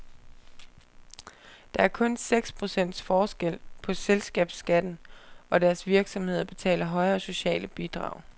Der er kun seks procentpoints forskel på selskabsskatten, og deres virksomheder betaler højere sociale bidrag.